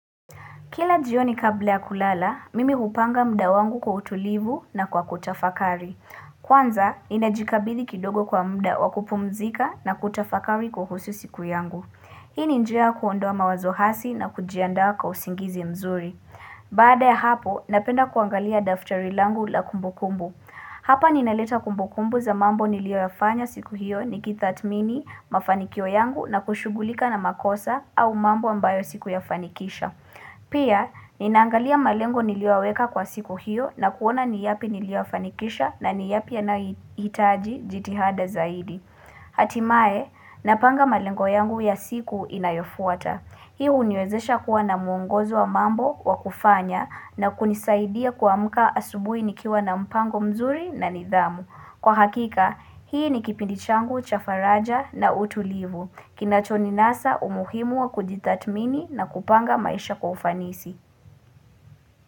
Kila jioni kabla ya kulala, mimi kupanga mda wangu kwa utulivu na kwa kutafakari. Kwanza, inajikabithi kidogo kwa mda wakupumzika na kutafakari kwa husu siku yangu. Hii ninjia kuondoa mawazohasi na kujianda kwa usingizi mzuri. Baada ya hapo, napenda kuangalia daftari langu la kumbukumbu. Hapa ninaleta kumbukumbu za mambo nilio yafanya siku hiyo ni kithatmini mafanikio yangu na kushugulika na makosa au mambo ambayo siku yafanikisha. Pia, ninangalia malengo niliowaweka kwa siku hiyo na kuona ni yapi niliwa fanikisha na ni yapi yanaitaji jitihada zaidi. Hatimae, napanga malengo yangu ya siku inayofuata. Hii uniozesha kuwa na muongozo wa mambo wa kufanya na kunisaidia kwa muka asubui nikiwa na mpango mzuri na nidhamu. Kwa hakika, hii ni kipindichangu, cha faraja na utulivu. Kina choni nasa umuhimu wa kujitatmini na kupanga maisha kwa ufanisi.